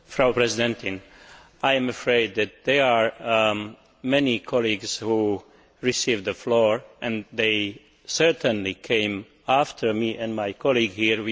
Madam President, I am afraid that there are many colleagues who were given the floor and they certainly came after me and my colleague here.